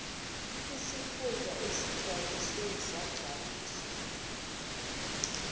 sikhundla esigcwalisiwe sigcwaliswa